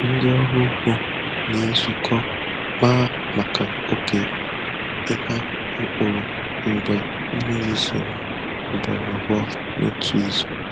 Ndị ọrụ ugbo na-ezukọ kpaa maka oge ịgha mkpụrụ mgbe mmiri zoro ugboro abụọ n'otu izu.